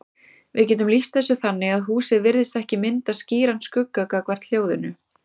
Við getum lýst þessu þannig að húsið virðist ekki mynda skýran skugga gagnvart hljóðinu.